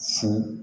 Fo